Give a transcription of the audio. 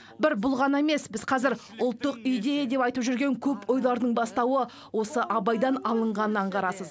бір бұл ғана емес біз қазір ұлттық идея деп айтып жүрген көп ойлардың бастауы осы абайдан алынғанын аңғарасыз